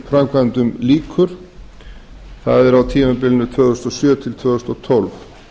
stóriðjuframkvæmdum lýkur ber tímabilinu tvö þúsund og sjö til tvö þúsund og tólf